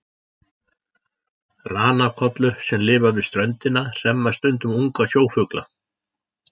Ranakollur sem lifa við ströndina hremma stundum unga sjófugla.